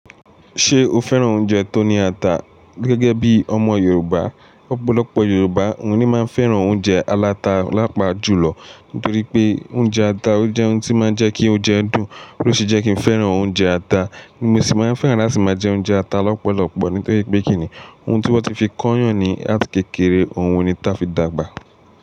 Ṣé o fẹ́ràn oúnjẹ tó ní ata? Gẹ́gẹ́ bí ọmọ Yorùbá, ọ̀pọ̀lọpọ̀ Yorùbá o ní máa fẹ́ràn oúnjẹ alata lápá jùlọ nítorí pé oúnjẹ ata ó jẹ́ oun tí máa ń jẹ́ kí oúnjẹ dùn, ló ṣe je kí n fẹ́ràn oúnjẹ ata. Mo sì máa fẹ́ràn láti máa jẹ oúnjẹ ata lọ́pọ̀lọpọ̀ nítorí pé kíni oun tí wọ́n ti fi kọ́yàn ní àti kékeré, oun ni táa fi dàgbà.